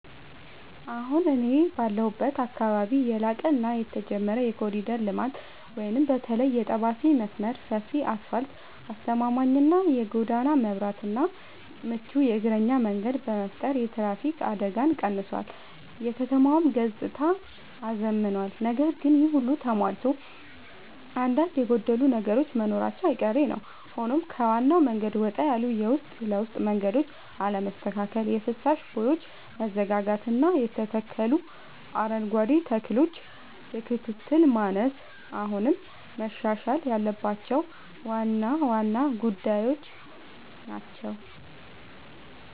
አሁን እኔ ባለሁበት አካባቢ ያለቀ እና የተጀመረ የኮሪደር ልማት (በተለይ የጠባሴ መስመር) ሰፊ አስፋልት: አስተማማኝ የጎዳና መብራትና ምቹ የእግረኛ መንገድ በመፍጠር የትራፊክ አደጋን ቀንሷል: የከተማዋንም ገጽታ አዝምኗል። ነገር ግን ይሄ ሁሉ ተሟልቶ አንዳንድ የጎደሉ ነገሮች መኖራቸው አይቀሬ ነዉ ሆኖም ከዋናው መንገድ ወጣ ያሉ የውስጥ ለውስጥ መንገዶች አለመስተካከል: የፍሳሽ ቦዮች መዘጋጋትና የተተከሉ አረንጓዴ ተክሎች የክትትል ማነስ አሁንም መሻሻል ያለባቸው ዋና ዋና ጉዳዮች ናቸው።